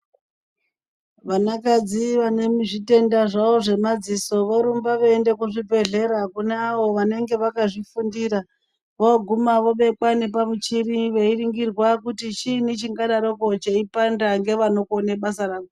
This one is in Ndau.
Vanakadzi vane zvitenda zvavo zvemadziso vorumba vachiende kuzvibhedhlera kune avo vanenge vakazvifundira voguma vobekwa nepamuchiri veiringirwa kuti chinyi chingadaropo chichipanda ngevanogone basa ravo.